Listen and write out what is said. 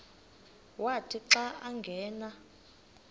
wathi xa angena